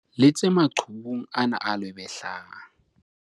letse maqhubung ana a lwebehlang.